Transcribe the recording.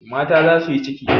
Mata za su yi ciki.